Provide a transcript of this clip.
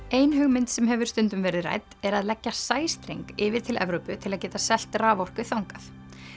ein hugmynd sem hefur stundum verið rædd er að leggja sæstreng yfir til Evrópu til að geta selt raforku þangað